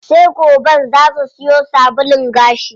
Sai goben zaa su siyo sabulun gashi.